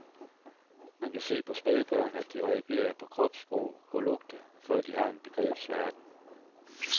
Man kan se på spædbørn, at de reagerer på kropssprog og lugte, før de har en begrebsverden.